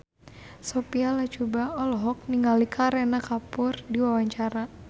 Sophia Latjuba olohok ningali Kareena Kapoor keur diwawancara